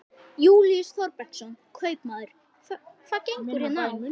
Júlíus Þorbergsson, kaupmaður: Hvað gengur hér á?